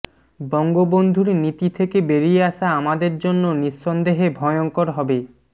বঙ্গবন্ধুর নীতি থেকে বেরিয়ে আসা আমাদের জন্য নিঃসন্দেহে ভয়ঙ্কর হবে